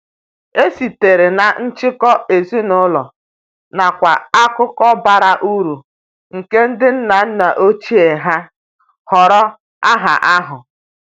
E sitere na njikọ ezinụlọ nakwa akụkọ bara uru nke ndi nna nna ochie ha họrọ aha ahụ.